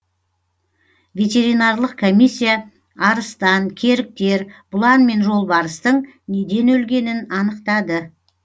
ветеринарлық комиссия арыстан керіктер бұлан мен жолбарыстың неден өлгенін анықтады